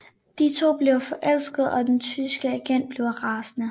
De to bliver forelskede og den tyske agent bliver rasende